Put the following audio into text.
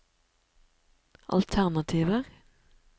alternativer